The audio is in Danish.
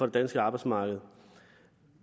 danske arbejdsmarked